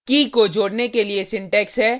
कीkey को जोडने के लिए सिंटेक्स है